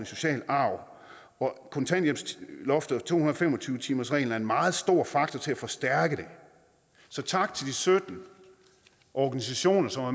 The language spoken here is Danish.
social arv kontanthjælpsloftet og to hundrede og fem og tyve timersreglen er en meget stor faktor til at forstærke det så tak til de sytten organisationer som har